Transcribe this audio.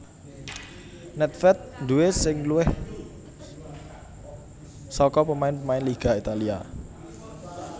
Nèdvèd duwè sing luwih saka pemain pemain Liga Italia